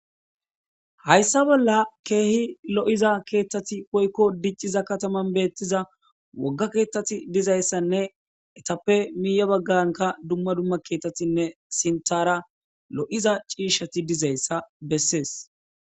Hayssa bolla keehi lo'iza keethtati poykko dicciza kataman beettiza wogga keethtati dizayssanne etappe miiya bagganka dumma dumma keettatinne sintara lo'iza ciishati dizayssa bessees.